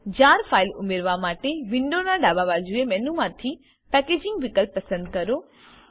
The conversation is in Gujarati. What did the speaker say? જાર ફાઈલ ઉમેરવા માટે વિન્ડો ના ડાબા બાજુએ મેનુમાંથી પેકેજિંગ વિકલ્પ પસંદ કરો